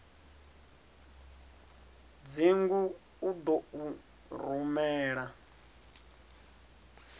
dzingu u ḓo u rumela